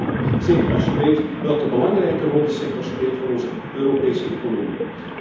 Dat is jammer, zeker als je weet welke belangrijke rol de sector speelt voor onze Europese economie.